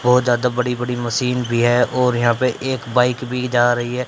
बहोत ज्यादा बड़ी बड़ी मशीन भी है और यहां पे एक बाइक भी जा रही है।